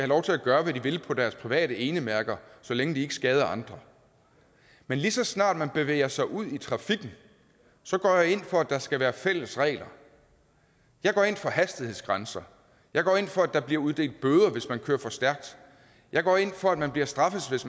lov til at gøre hvad de vil på deres private enemærker så længe de ikke skader andre men lige så snart man bevæger sig ud i trafikken så går jeg ind for at der skal være fælles regler jeg går ind for hastighedsgrænser jeg går ind for at der bliver uddelt bøder hvis man kører for stærkt jeg går ind for at man bliver straffet hvis